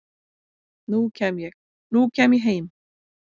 nú kem ég, nú kem ég heim